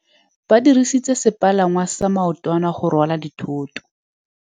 Ba dirisitse sepalangwasa maotwana go rwala dithôtô.